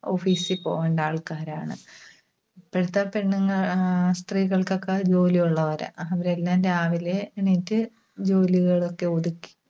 office ൽ പോകേണ്ട ആൾക്കാരാണ്. ഇപ്പഴത്തെ പെണ്ണുങ്ങ, ആഹ് സ്ത്രീകൾക്കൊക്കെ ജോലിയുള്ളവരാ. അവരെല്ലാം രാവിലെ എണീറ്റ് ജോലികളൊക്കെ ഒതുക്കി